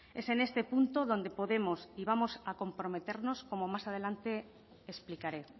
es en este punto donde podemos y vamos a comprometernos como más adelante explicaré